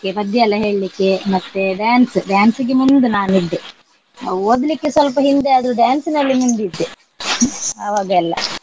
ಪದ್ಯ ಎಲ್ಲ ಹೇಳ್ಲಿಕ್ಕೆ ಮತ್ತೆ dance dance ಗೆ ಮುಂದ್ ನಾನ್ ಇದ್ದೆ. ಅಹ್ ಓದ್ಲಿಕ್ಕೆ ಸ್ವಲ್ಪ ಹಿಂದೆ ಆದ್ರು dance ನಲ್ಲಿ ಮುಂದಿದ್ದೆ ಆವಾಗೆಲ್ಲ.